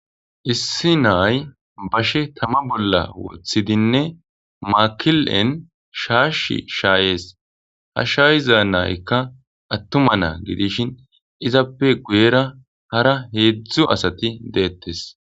Issi nayi bashe tama bollan wotidinne makilen shashi shayes ha sha,iza nayika atuma na,a gidishin izappe guyera hara hedzdzu asati de,eetes